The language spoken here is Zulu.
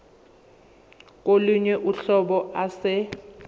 kolunye uhlobo ase